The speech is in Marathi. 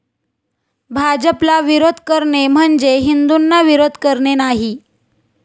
भाजपला विरोध करणे म्हणजे, हिंदूंना विरोध करणे नाही.